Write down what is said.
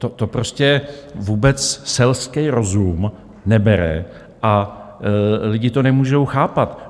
To prostě vůbec selský rozum nebere a lidi to nemůžou chápat.